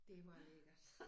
Det var lækkert